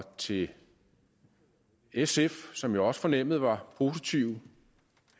til sf som jeg også fornemmede var positive de